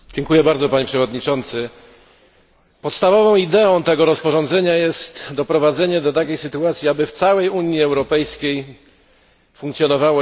Podstawową ideą tego rozporządzenia jest doprowadzenie do takiej sytuacji, aby w całej Unii Europejskiej funkcjonowało jednolite etykietowanie produktów spożywczych.